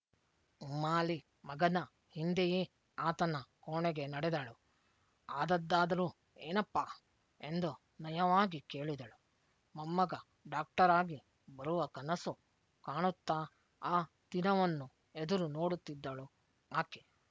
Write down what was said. ಉಮ್ಮಾಲಿ ಮಗನ ಹಿಂದೆಯೇ ಆತನ ಕೋಣೆಗೆ ನಡೆದಳು ಆದದ್ದಾದರೂ ಏನಪ್ಪಾ ಎಂದು ನಯವಾಗಿ ಕೇಳಿದಳು ಮೊಮ್ಮಗ ಡಾಕ್ಟರಾಗಿ ಬರುವ ಕನಸು ಕಾಣುತ್ತಾ ಆ ದಿನವನ್ನು ಎದುರು ನೋಡುತ್ತಿದ್ದಳು ಆಕೆ